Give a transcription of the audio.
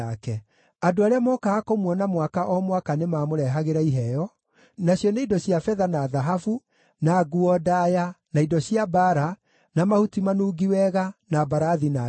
Andũ arĩa mookaga kũmuona mwaka o mwaka nĩmamũrehagĩra iheo, nacio nĩ indo cia betha na thahabu, na nguo ndaaya, na indo cia mbaara, na mahuti manungi wega, na mbarathi na nyũmbũ.